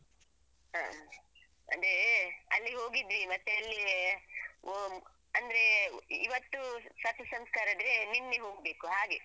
ಹ ಅಂದ್ರೆ ಅಲ್ಲಿ ಹೋಗಿದ್ವಿ ಮತ್ತೆ ಅಲ್ಲಿ ಒವ್ ಅಂದ್ರೆ ಇವತ್ತು ಸರ್ಪಸಂಸ್ಕಾರ ಇದ್ರೆ ನಿನ್ನೆ ಹೋಗ್ಬೇಕು ಹಾಗೆ.